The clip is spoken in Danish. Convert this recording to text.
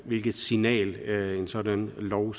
hvilket signal en sådan lov